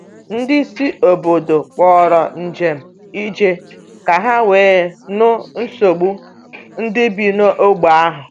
Ndị isi obodo kpọrọ njem ije ka ha wee nụ nsogbu ndị bi n’ógbè ahụ.